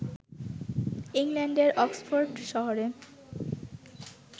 ইংল্যান্ডের অক্সফোর্ড শহরে